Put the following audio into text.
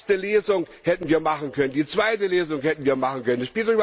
Die erste Lesung hätten wir machen können, die zweite Lesung hätten wir machen können.